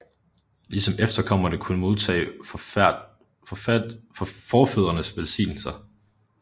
Ligesom efterkommerne kunne modtage forfædrenes velsignelser